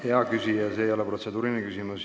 Hea küsija, see ei ole protseduuriline küsimus.